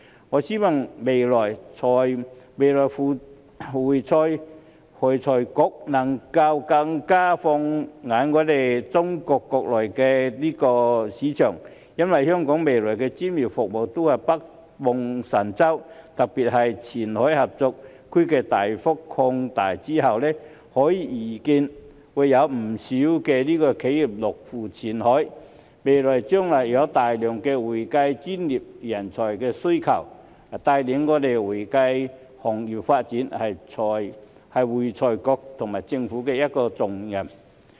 我希望未來會財局能夠更放眼中國國內的市場，因為香港未來的專業服務都是北望神州，特別是前海合作區大幅擴大之後，可以預見會有不少企業落戶前海，未來將會有大量的會計專業需求，帶領會計行業發展是會財局和政府的一個重擔。